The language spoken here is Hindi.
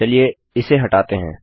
चलिए इससे हटाते हैं